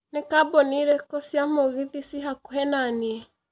nĩ kambũni ĩrikũ cia mũgithi ci hakũhĩ naniĩ